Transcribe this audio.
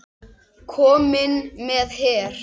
Kominn með her!